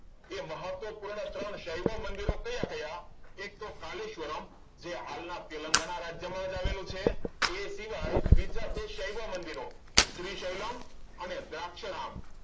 એ મહત્વપૂર્ણ ત્રણ સેવ મંદિરો કયા કયા? એક તો કાલે સ્વરમ જે હાલના તેલંગાણા રાજ્યમાં આવેલું છે એ સિવાય બીજા બે સૈવ મંદિરો અને દ્રાક્ષ રામ